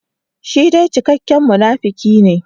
Shi dai cikakken munafuki ne.